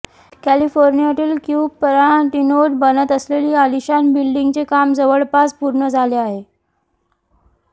कॅलिफोनिर्यातील क्यूपराटिनोत बनत असलेली अलिशान बिल्डिंगचे काम जवळपास पूर्ण झाले आहे